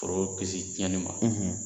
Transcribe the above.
Foro kisi tiɲɛni ma